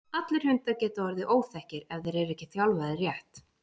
allir hundar geta orðið óþekkir ef þeir eru ekki þjálfaðir rétt